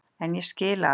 En ég skil að